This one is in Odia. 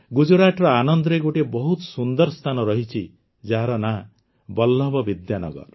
ଗୁଜରାଟର ଆନନ୍ଦରେ ଗୋଟିଏ ବହୁତ ସୁନ୍ଦର ସ୍ଥାନ ରହିଛି ଯାହାର ନାଁ ବଲ୍ଲଭ ବିଦ୍ୟାନଗର